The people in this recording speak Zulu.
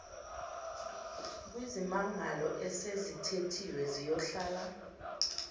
kwizimangalo esezithethiwe ziyohlala